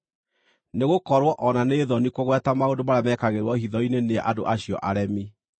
Nĩgũkorwo o na nĩ thoni kũgweta maũndũ marĩa mekagĩrwo hitho-inĩ nĩ andũ acio aremi.